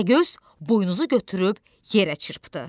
Təpəgöz buynuzu götürüb yerə çırpdı.